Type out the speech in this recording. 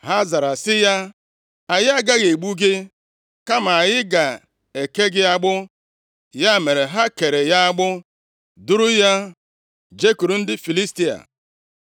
Ha zara sị ya, “Anyị agaghị egbu gị kama anyị ga-eke gị agbụ.” Ya mere, ha kere ya agbụ, duru ya jekwuru ndị Filistia.